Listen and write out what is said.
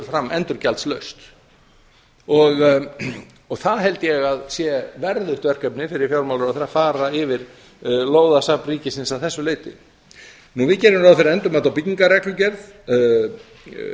fram endurgjaldslaust það held ég að sé verðugt verkefni fyrir fjármálaráðherra að fara yfir lóðasafn ríkisins að þessu leyti við gerum ráð ári endurmati á byggingarreglugerð og